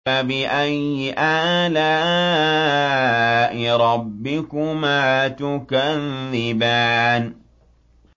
فَبِأَيِّ آلَاءِ رَبِّكُمَا تُكَذِّبَانِ